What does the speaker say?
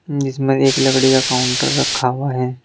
इसमे एक लकड़ी का काउंटर रखा हुआ है।